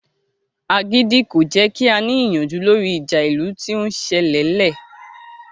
Agídí kò jẹ́ kí a ní ìyanjú lórí ìjà ìlú tí ó ń sẹlẹ̀ lẹ